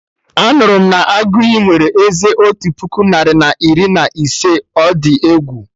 Anụrụ m na Aguiyi nwere eze otu puku narị na iri na ise, ọ dị egwu!